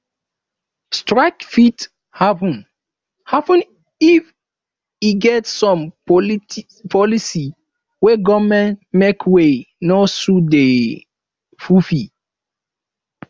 strike fit happen happen if e get some policies wey government make wey no suit the pipo